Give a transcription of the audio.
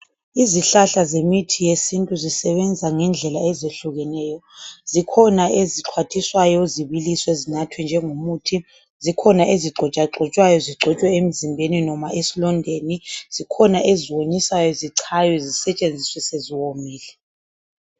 Izihlahla zemithi yesintu zisebenza ngendlela ezehlukeneyo zikhona ezixwathiswayo zibiliswe zinathwe njengomuthi, zikhona ezigxotshwagxotshwayo zigcotshwe emzimbeni noma esilondeni, zikhona eziwomiswayo zichawe sisetsheziswe seziwomile.